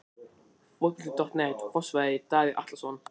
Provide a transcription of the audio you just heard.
Fótbolti.net, Fossvogi- Davíð Atlason.